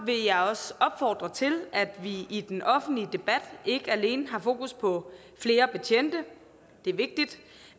vil jeg også opfordre til at vi i den offentlige debat ikke alene har fokus på flere betjente det er vigtigt